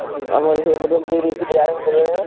ହୁଁ ଆମର ସେଇପଟେ ବିରି ଫିରି ଆରମ୍ଭ କଲେଣି।